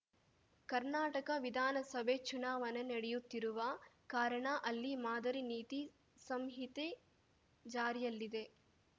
ಕರ್ನಾಟಕ ವಿಧಾನಸಭೆ ಚುನಾವಣೆ ನಡೆಯುತ್ತಿರುವ ಕಾರಣ ಅಲ್ಲಿ ಮಾದರಿ ನೀತಿ ಸಂಹಿತೆ ಜಾರಿಯಲ್ಲಿದೆ